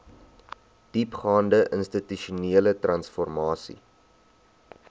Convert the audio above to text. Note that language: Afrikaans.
diepgaande institusionele transformasie